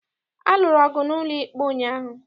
A lụrụ ọgụ n'ụlọikpe ụnyaahụ.